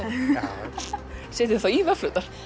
í vöfflurnar